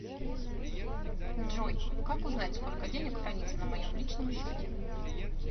джой как узнать сколько денег храниться на моем личном счете